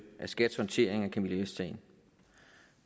af skats håndtering af camilla vest sagen